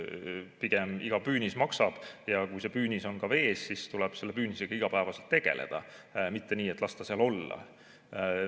Pigem iga püünis maksab ja kui see püünis on vees, siis tuleb selle püünisega iga päev tegeleda, mitte nii, et las ta seal olla.